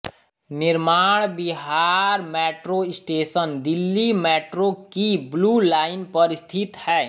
निर्माण Vihar metro station Delhi metro की blue line पर स्थित है